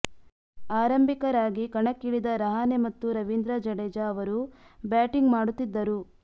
ಆರಂಭಿಕರಾಗಿ ಕಣಕ್ಕಿಳಿದ ರಹಾನೆ ಮತ್ತು ರವೀಂದ್ರ ಜಡೇಜಾ ಅವರು ಬ್ಯಾಟಿಂಗ್ ಮಾಡುತ್ತಿದ್ದರು